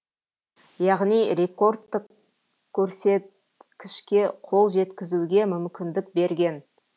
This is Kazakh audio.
яғни рекордтық көрсеткішке қол жеткізуге мүмкіндік берген